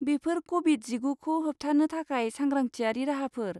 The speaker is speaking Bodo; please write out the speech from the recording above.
बेफोर क'भिड जिगुखौ होबथानो थाखाय सांग्रांथियारि राहाफोर।